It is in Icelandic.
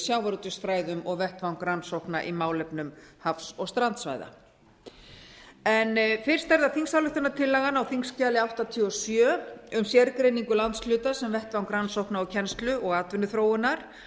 sjávarútvegsfræðum og vettvang rannsókna á málefnum hafs og strandsvæða fyrst er það þingsályktunartillagan á þingskjali áttatíu og sjö um sérgreiningu landshluta sem vettvang rannsókna kennslu og atvinnuþróunar